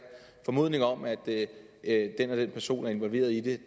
formodning om at at den og den person er involveret i det